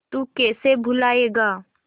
तू कैसे भूलाएगा